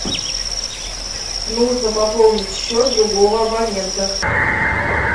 нужно пополнить счет другого абонента